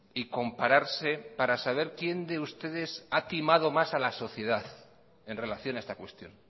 y compararse para saber quién de ustedes ha timado más a la sociedad en relación a esta cuestión